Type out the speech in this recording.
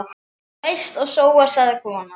Þú eyst og sóar, sagði konan.